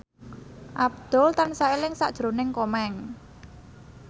Abdul tansah eling sakjroning Komeng